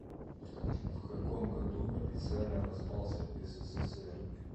в каком году официально распался ссср